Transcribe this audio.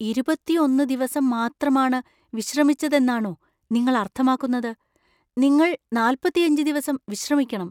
ഇരുപത്തിയൊന്ന് ദിവസം മാത്രമാണ് വിശ്രമിച്ചതെന്നാണോ നിങ്ങൾ അർത്ഥമാക്കുന്നത് ? നിങ്ങൾ നാൽപ്പത്തിയഞ്ച് ദിവസം വിശ്രമിക്കണം.